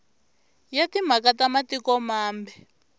ya timhaka ta matiko mambe